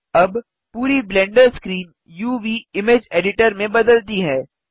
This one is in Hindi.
अब पूरी ब्लेंडर स्क्रीन uvइमेज एडिटर में बदलती है